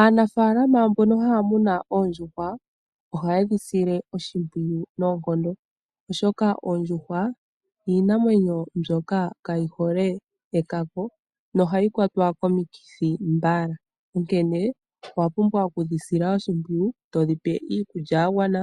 Aanafaalama mbono haya munu oondjuhwa ohaye dhi sile oshimpwiyu noonkomdo, oshoka oondjuhwa iinamwenyo mbyoka kayi hole ekako nohayi kwatwa komikithi mbala, onkene owa pumbwa okudhi sila oshimpwiyu, to dhi pe iikulya ya gwana